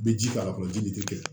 I bɛ ji k'a la fɔlɔ ji de tɛ kɛ